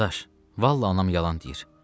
Dadaş, vallah anam yalan deyir.